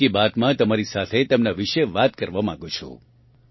હું મન કી બાત માં તમારી સાથે તેમનાં વિશે વાત કરવા માગું છું